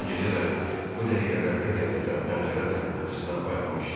O gecə də bu dəqiqələrdə qəflətən pəncərə taqqıltısına oyanmışdı.